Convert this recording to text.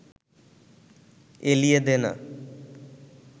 এলিয়ে দে না